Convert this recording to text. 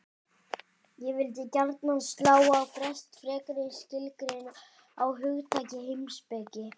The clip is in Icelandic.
Ég vildi gjarnan slá á frest frekari skilgreiningu á hugtakinu heimspeki.